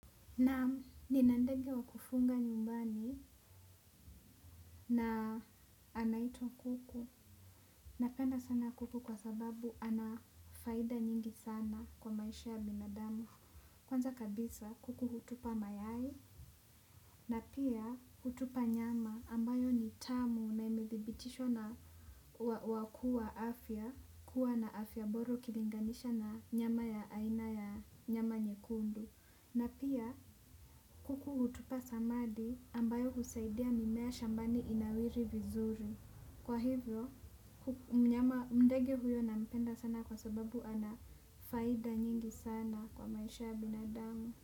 Naam nina ndege wa kufuga nyumbani na anaitwa kuku. Napenda sana kuku kwa sababu ana faida nyingi sana kwa maisha ya binadamu. Kwanza kabisa kuku hutupa mayai na pia hutupa nyama ambayo ni tamu na imithibitishwa na wakuu wa afya. Kuwa na afya bora kilinganisha na nyama ya aina ya nyama nyekundu. Na pia kuku hutupa samadi ambayo kusaidia mimea shambani inawiri vizuri. Kwa hivyo mnyama ndege huyo nampenda sana kwa sababu ana anafaida nyingi sana kwa maisha ya binadamu.